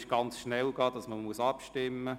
Es kann schnell zu einer Abstimmung kommen.